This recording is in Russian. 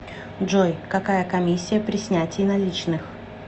джой какая коммисия при снятии наличных